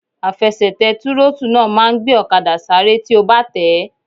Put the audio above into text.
Àfẹsẹ̀tẹ̀ tírótù náà máa n gbé ọ̀kadà sáré tí o bá tẹ̀ẹ́